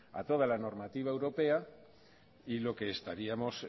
a toda la normativa europea y lo que estaríamos